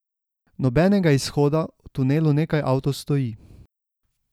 Nobenega izhoda, v tunelu nekaj avtov stoji.